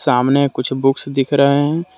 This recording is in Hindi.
आमने कुछ बुक्स दिख रहे हैं।